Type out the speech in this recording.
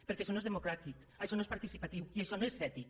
perquè això ho és democràtic això no és par·ticipatiu i això no és ètic